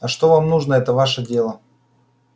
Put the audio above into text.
а что вам нужно это ваше дело